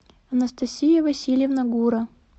анастасия васильевна гура